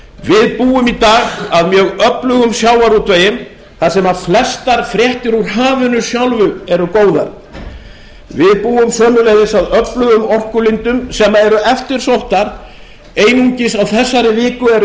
við búum í dag að mjög öflugum sjávarútvegi þar sem flestar fréttir úr hafinu sjálfu eru góðar við búum sömuleiðis að öflugum orkulindum sem eru eftirsóttar einungis á þessari viku eru